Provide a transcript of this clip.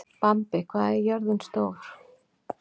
Bambi, hvað er jörðin stór?